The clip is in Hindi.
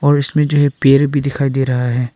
और इसमें जो है पेड़ भी दिखाई दे रहा है।